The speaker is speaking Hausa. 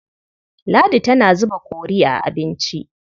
Ladi tana zuba kori a abinci.